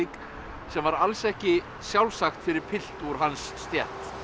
sem var alls ekki sjálfsagt fyrir pilt úr hans stétt